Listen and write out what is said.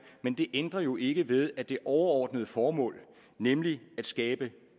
men det ændrer jo ikke ved at det overordnede formål nemlig at skabe